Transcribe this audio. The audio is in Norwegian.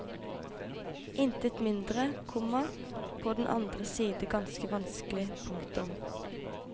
Intet mindre, komma på den annen side ganske vanskelig. punktum